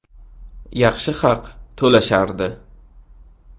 Yaxshi haq to‘lashardi.